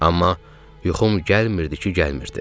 Amma yuxum gəlmirdi ki, gəlmirdi.